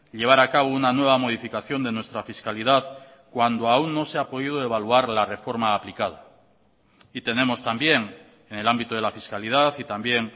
llevar a cabo una nueva modificación de nuestra fiscalidad cuando aún no se ha podido evaluar la reforma aplicada y tenemos también en el ámbito de la fiscalidad y también